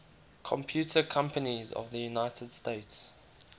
computer companies of the united states